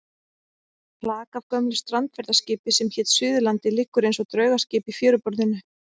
Flak af gömlu strandferðaskipi sem hét Suðurlandið liggur eins og draugaskip í fjöruborðinu.